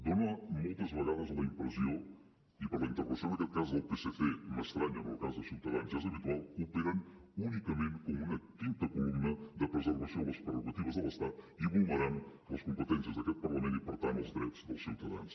dona moltes vegades la impressió i la intervenció en aquest cas del psc m’estranya en el cas de ciutadans ja és habitual que operen únicament com una quinta columna de preservació de les prerrogatives de l’estat i vulnerant les competències d’aquest parlament i per tant els drets dels ciutadans